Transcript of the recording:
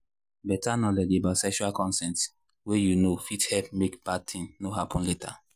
better knowledge about sexual consent way you know fit help make bad thing no happen later.